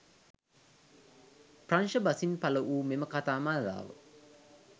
ප්‍රංශ බසින් පළවූ මෙම කතා මාලාව